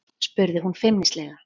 spurði hún feimnislega.